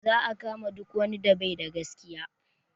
Za a kama duk wani da baida da gaskiya